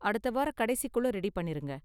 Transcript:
அடுத்த வார கடைசிக்குள்ள ரெடி பண்ணிருங்க.